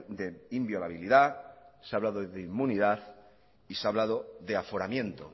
de inviolabilidad se ha hablado de inmunidad y se ha hablado de aforamiento